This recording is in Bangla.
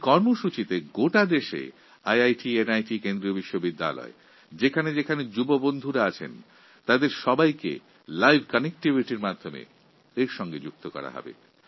এবং এই প্রকল্পে দেশের সমস্ত আইআইটি আইআইএম কেন্দ্রিয় বিশ্ববিদ্যালয় এবং এনআইটিতে পাঠরত যুবসম্প্রদায়কে লাইভ connectivityর মাধ্যমে সংযুক্ত করা হবে